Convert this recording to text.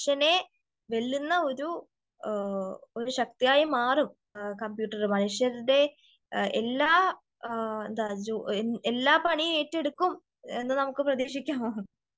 മനുഷ്യനെ വെല്ലുന്ന ഒരു ഒരു ശക്തിയായി മാറും കമ്പ്യൂട്ടറ് മനുഷ്യരുടെ എല്ലാ എന്താ എല്ലാ പണിയും ഏറ്റെടുക്കും എന്ന് നമുക്ക് പ്രതീക്ഷിക്കാം.